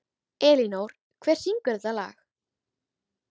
Elínór, hver syngur þetta lag?